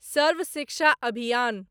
सर्व शिक्षा अभियान